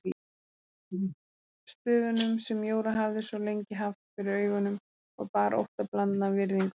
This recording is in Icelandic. Stöfunum sem Jóra hafði svo lengi haft fyrir augunum og bar óttablandna virðingu fyrir.